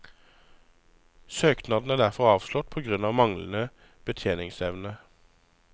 Søknaden er derfor avslått på grunn av manglende betjeningsevne.